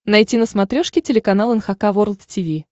найти на смотрешке телеканал эн эйч кей волд ти ви